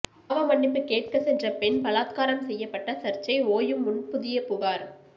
பாவமன்னிப்பு கேட்க சென்ற பெண் பலாத்காரம் செய்யப்பட்ட சர்ச்சை ஓயும் முன் புதிய புகார்